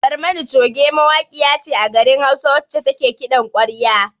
"Barmani choge" mawaƙiya ce a garin hausa wacce take kiɗan kwarya.